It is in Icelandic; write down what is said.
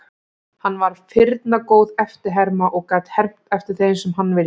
Hann var firna góð eftirherma og gat hermt eftir þeim sem hann vildi.